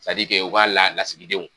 o ka la lasigidenw